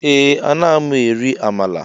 Ee ana mụ eri Amala.